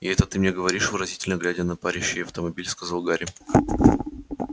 и это ты мне говоришь выразительно глядя на парящий автомобиль сказал гарри